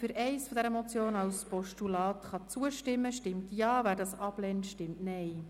Wer der Ziffer 1 als Postulat zustimmen kann, stimmt Ja, wer dies ablehnt, stimmt Nein.